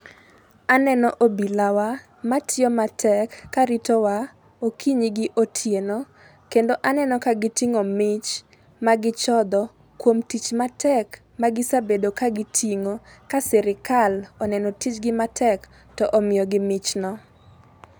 Aneno obilawa matiyo matek karitowa okinyi gi otieno kendo aneno ka giting'o mich magichodho kuom tich matek magisebedo ka gitiyo ka sirkal oneno tijgi matek to omiyo gi michno.